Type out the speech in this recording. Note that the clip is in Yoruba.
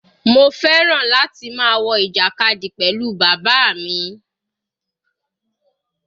Mo fẹ́ràn láti máa wo ìjàkadì pẹ̀lú bàbá mi.